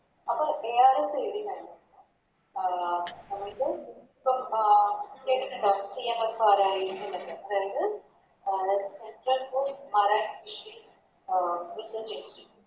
അപ്പൊ ARS എഴുതി കഴിഞ്ഞിട്ട് അഹ് അതായത് പ്പ അഹ് അതായത്